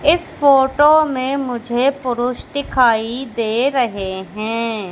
इस फोटो में मुझे पुरुष दिखाई दे रहे है।